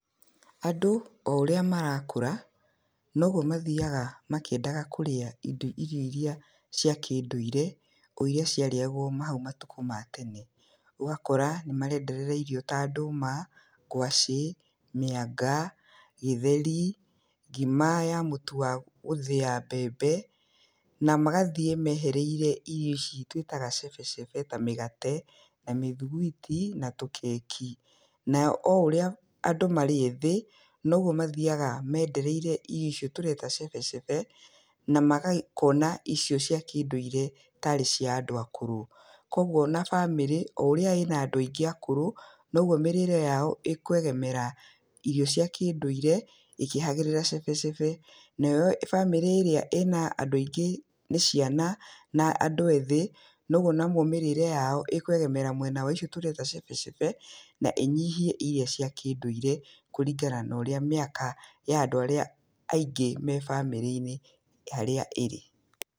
Andũ o ũrĩa marakũra, noguo mathiaga makĩendaga kũrĩa indo irio iria cia kĩndũire, o iria cĩarĩagwo hau matuko matene, ũgakora nĩ marenderera irio ta ndũma, ngwacĩ, mĩanga, gĩheri, ngima ya mũtu wa gũthĩa mbembe, na magathiĩ mehereire irio ici twĩtaga cebecebe, ta mĩgate, na mĩthugwiti, na tũkeki, nayo o ũrĩa andũ marĩethĩ, noguo mathiaga mendereire irio icio tũreta cebecebe, na magakĩona icio cĩa kĩndũire tarĩ cia andũ akũrũ. Koguo ona bamĩrĩ o ũrĩa ina andũ aingĩ akũrũ, noguo mĩrĩre yao ĩkwegemera irio cia kĩndũire ikĩheragĩra cebecebe, nayo bamĩrĩ ĩrĩa ĩna andũ aingĩ nĩ ciana, na andũ ethĩ, noguo nao mĩrĩre yao ĩkwegemera mwena waicio tũreta cebecebe, na ĩnyihie iria cĩa kĩndũire, kũringana norĩa mĩaka ya andũ arĩa aingĩ me bamĩrĩ-inĩ harĩa ĩrĩ.